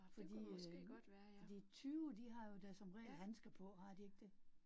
Fordi øh fordi tyve, de har jo da som regel handsker på, har de ikke det